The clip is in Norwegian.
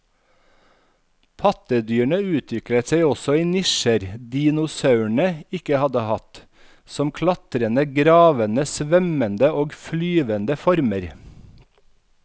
Pattedyrene utviklet seg også i nisjer dinosaurene ikke hadde hatt, som klatrende, gravende, svømmende og flyvende former.